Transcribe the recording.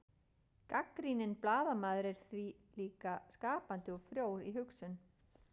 gagnrýninn blaðamaður er því líka skapandi og frjór í hugsun